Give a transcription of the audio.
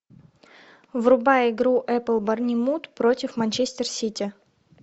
врубай игру апл борнмут против манчестер сити